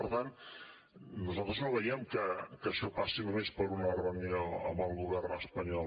per tant nosaltres no veiem que això passi només per una reunió amb el govern espanyol